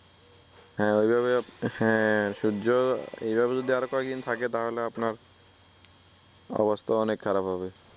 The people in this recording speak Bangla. হ্যা অইভাবে হ্যা সূর্য এইভাবে যদি আরো কয়েকদিন থাকে তাহলে আপনার অবস্থা অনেক খারাপ হবে